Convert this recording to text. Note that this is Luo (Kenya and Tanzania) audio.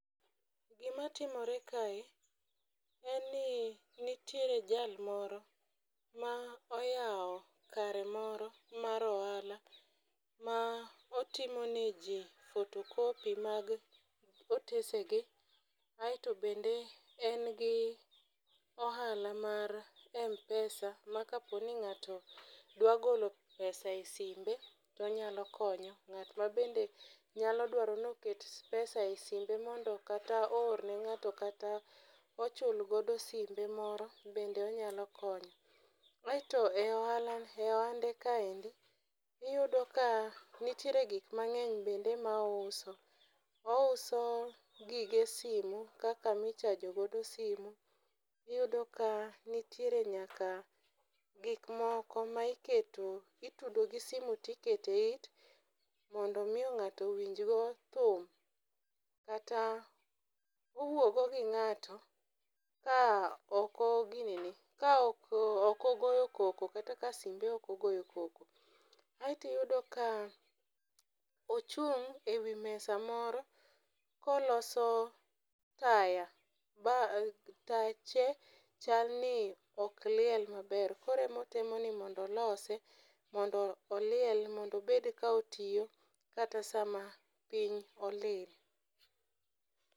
Gima timore kae en ni nitiere jal moro ma oyawo kare moro mar ohala ma otimo ne jii photocopy mag otese gi . Aeto bende en gi ohala mar mpesa ma kaponi ng'ato dwa golo pesa e simbe tonyalo konye ng'at ma bende nya dwaro ni oket pesa e simbe mondo kata oor ne ng'ato kata ochul godo simbe moro bende onyalo konyo. Aeto e ohala e onde kaendi uyudo ka nitiere gik mangeny bend e ma ouso. Ouso gige simu kaka michajo godo simo iyudo ka nitie nyaka gik moko ma iketo itudo gi simu to ikete yit mondo mi ng'ato winj go thum kata owuogo gi ng'ato ka oko gineni ka ok ogoyo koko kata ka simbe ok ogoyo koko. Aeto iyudo ka ochung' e wi mesa moro koloso taya ba tache chal ni ok liel maber kore motemo ni mondo olose mondo oliel mondo obed ka otiyo kata sama piny olil.